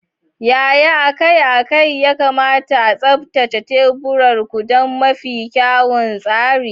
Yaya akai-akai ya kamata a tsaftace teburin ku don mafi kyawun tsari?